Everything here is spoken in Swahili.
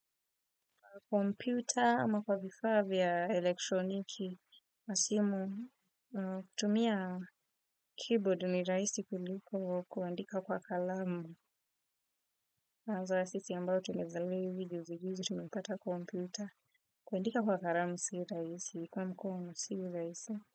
Kwa kompyuta ama kwa vifaa vya elektroniki, masimu, kutumia keyboard ni rahisi kuliko kuandika kwa kalamu. Kwanza sisi ambao tumezaliwa hivi juzi juzi, tumepata kompyuta kuandika kwa kalamu si rahisi, kwa mkono si rahisi.